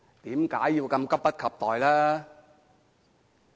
為何如此急不及待？